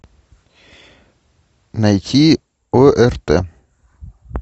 найти орт